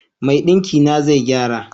Mai dinkin na zai gyara.